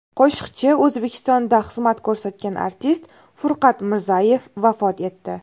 Qo‘shiqchi, O‘zbekistonda xizmat ko‘rsatgan artist Furqat Mirzayev vafot etdi.